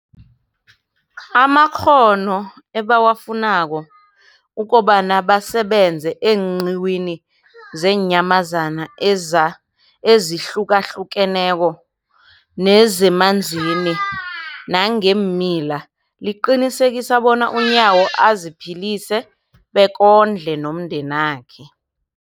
amakghono ebawafunako ukobana basebenze eenqiwini zeenyamazana ezihlukahlukeneko nezemanzini nangeemila, liqinisekisa bona uNyawo aziphilise bekondle nomndenakhe.